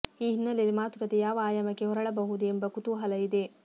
ಈ ಹಿನ್ನೆಲೆಯಲ್ಲಿ ಮಾತುಕತೆ ಯಾವ ಆಯಾಮಕ್ಕೆ ಹೊರಳಬಹುದು ಎಂಬ ಕುತೂಹಲ ಇದೆ